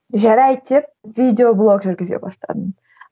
жарайды деп видеоблог жүргізе бастадым